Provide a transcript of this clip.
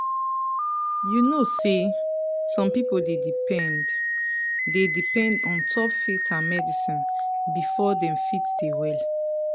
you know say some people dey depend dey depend ontop faith and medicine before dem fit dey well.